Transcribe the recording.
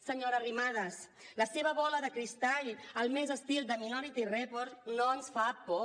senyora arrimadas la seva bola de cristall al més estil de minority report no ens fa por